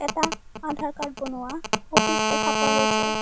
এটা আধাৰ কাৰ্ড বনোৱা অফিচ দেখা পোৱা গৈছে।